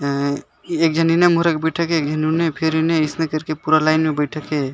आ एक झन मोरा बैठे गए है न फिर एक झन आसने करके फिर न अइसने कर के पूरा लाइन में बैठे के है।